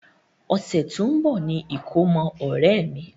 Ọ̀sẹ̀ tó ń bá ni ìkómọ ọ̀rẹ́ mi.